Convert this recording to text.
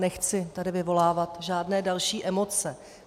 Nechci tady vyvolávat žádné další emoce.